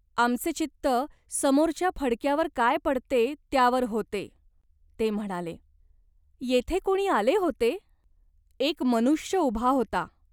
आमचे चित्त समोरच्या फडक्यावर काय पडते त्यावर होते," ते म्हणाले. "येथे कोणी आले होते ?" "एक मनुष्य उभा होता.